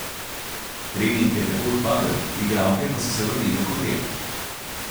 Trening je tako odpadel, igralke pa so se vrnile v hotel.